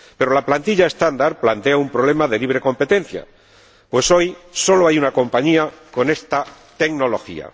Pero la plantilla estándar plantea un problema de libre competencia, pues hoy solo una compañía tiene esta tecnología.